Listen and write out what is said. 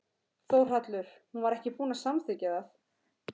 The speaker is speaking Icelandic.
Þórhallur: Hún var ekki búin að samþykkja það?